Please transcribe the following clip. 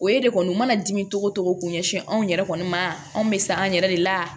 O ye de kɔni u mana dimi cogo cogo k'u ɲɛsin anw yɛrɛ kɔni ma anw bɛ sa an yɛrɛ de la